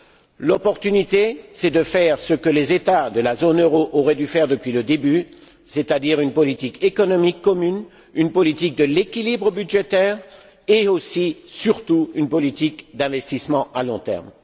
L'occasion à saisir, c'est de faire ce que les États de la zone euro auraient dû faire depuis le début, c'est à dire mener une politique économique commune, une politique de l'équilibre budgétaire et, aussi, surtout, une politique d'investissement à long terme.